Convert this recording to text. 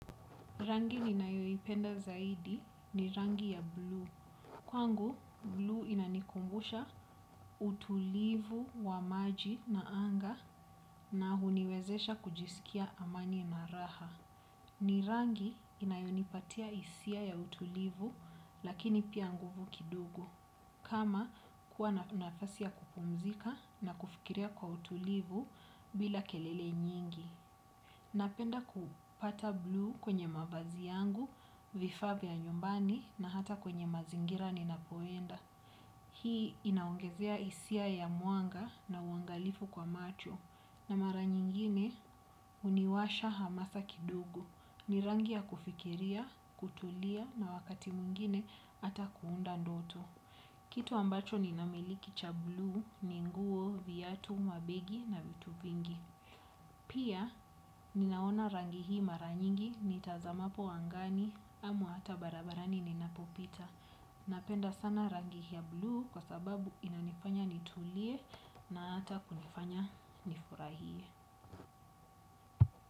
Rangi ninayoipenda zaidi ni rangi ya bluu. Kwangu, bluu inanikumbusha utulivu wa maji na anga na huniwezesha kujisikia amani na raha. Ni rangi inayonipatia hisia ya utulivu lakini pia nguvu kidogo. Kama kuwa nafasi ya kupumzika na kufikiria kwa utulivu bila kelele nyingi. Napenda kupata bluu kwenye mavazi yangu, vifaa vya nyumbani na hata kwenye mazingira ninapoenda. Hii inaongezea hisia ya mwanga na uangalifu kwa macho na mara nyingine huniwasha hamasa kidogo. Ni rangi ya kufikiria, kutulia na wakati mwngine hata kuunda ndoto. Kitu ambacho ninamiliki cha bluu ni nguo viatu mabegi na vitu vingi. Pia ninaona rangi hii mara nyingi nitazamapo angani au hata barabarani ninapopita. Napenda sana rangi hii ya bluu kwa sababu inanifanya nitulie na hata kunifanya nifurahie.